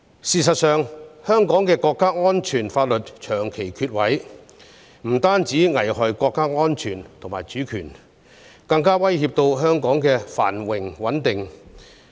事實上，香港長期欠缺國家安全法律，這樣不但單會危害國家安全及主權，更會對香港的繁榮和穩定構成威脅。